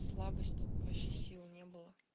слабость вообще сил не было